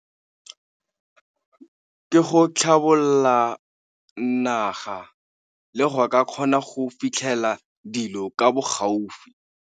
Ke go tlhabolla naga le go ka kgona go fitlhela dilo ka bo gaufi.